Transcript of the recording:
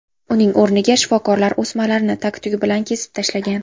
Uning o‘rniga shifokorlar o‘smalarni tag-tugi bilan kesib tashlagan.